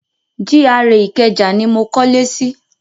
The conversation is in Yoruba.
GRA Ìkẹjà ni mo kọ́lé sí.